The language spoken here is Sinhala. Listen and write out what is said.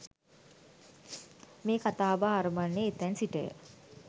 මේ කතා බහ අරඹන්නේ එතැන් සිටය.